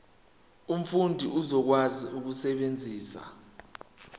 umfundi uzokwazi ukusebenzisa